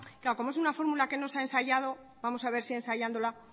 como es una fórmula que no se ha ensayado vamos a ver si ensayándola